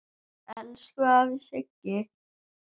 Elsku afi Siggi.